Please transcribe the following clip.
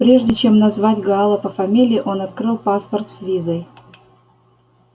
прежде чем назвать гаала по фамилии он открыл паспорт с визой